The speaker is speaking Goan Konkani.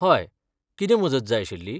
हय, कितें मजत जाय आशिल्ली?